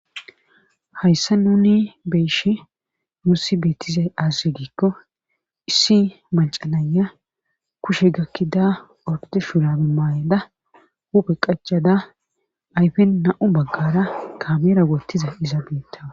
Hayssa nuni beishe mussi beettize azisi giikko issi macanaya kushe gakkida orkoti shuragi maayeda hupe qaccada ayfen na7u baggara kameera woottiza iza beittawa.